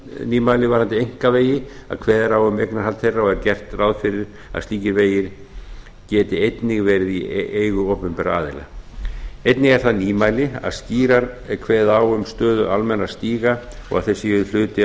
nýmæli varðandi einkavegi að kveðið á um eignarhald þeirra og er gert ráð fyrir að slíkir vegir geti einnig verið í eigu opinberra aðila einnig er það nýmæli að skýrar er kveðið á um stöðu almennra stíga og þeir séu hluti af